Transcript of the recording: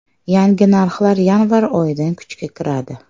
Yangi narxlar yanvar oyidan kuchga kiradi.